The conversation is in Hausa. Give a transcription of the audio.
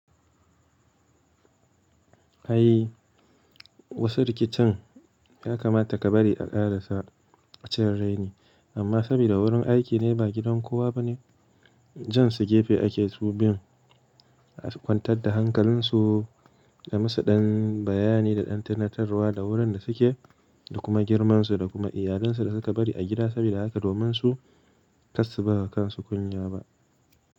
Ai wasu rikicin ya kamata ka bari a ƙarasa ɓa cin raine, amma saboda wurin aiki ne ba gidan kowa ba ne, jan su gefe ake subiyun kwantar da hankalinsu da musu ɗan bayani da ɗan tunatarwa da wurin da suke da kuma girmansu da kuma iyalansu da suka bari a gida saboda haka domin su kar su bawa kansu kunya ba.